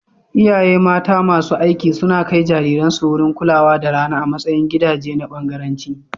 Iyaye mata masu aiki suna kai jariransu wurin kulawa da rana a matsayin gidaje na bangaranci.